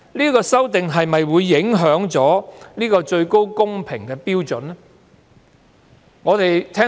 這次修訂又會否影響高度公平標準呢？